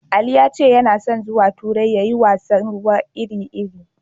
Ali ya ce yana son zuwa turai ya yi kallon wasan ruwa iri-iri.